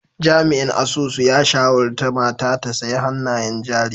Jami'in asusun ya shawarta mata ta sayi hannayen jari!